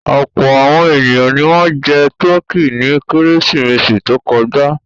Ọ̀pọ̀ àwọn ènìyàn ni wọ́n jẹ tọkí ní Kérésìmesì tó kọjá.